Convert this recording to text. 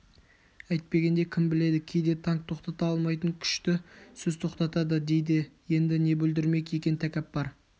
әйтпегенде кім біледі кейде танк тоқтата алмайтын күшті сөз тоқтатады дейді енді не бүлдірмек екен тәкәппар